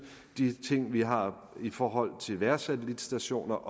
de ting vi har i forhold til vejrsatellitstationer